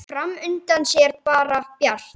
Fram undan sé bara bjart.